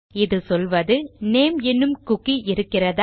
இது சொல்வது நேம் எனும் குக்கி இருக்கிறதா